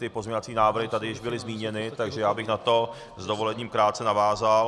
Ty pozměňovací návrhy tady už byly zmíněny, takže už bych na to s dovolením krátce navázal.